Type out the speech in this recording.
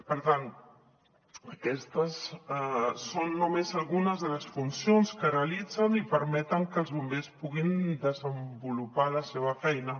per tant aquestes són només algunes de les funcions que realitzen i permeten que els bombers puguin desenvolupar la seva feina